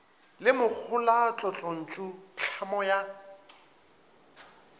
le mohola tlotlontšu tlhamo ya